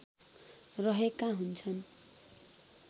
रहेका हुन्छन्